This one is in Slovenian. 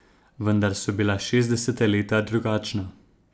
Vendar so bila šestdeseta leta drugačna.